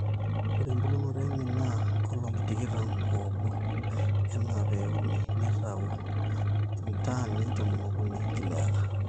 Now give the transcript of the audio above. ore embulunoto enye naa nkolong'i tikitam oobo enaa pee euni neitau 13 tons per acre